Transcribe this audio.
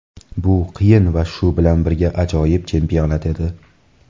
Bu qiyin va shu bilan birga ajoyib chempionat edi.